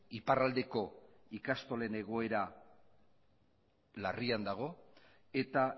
iparraldeko ikastolak egoera larrian daude eta